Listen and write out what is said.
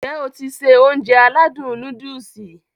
N jẹ́ o ti se Ounjẹ aládùn nóódùsì?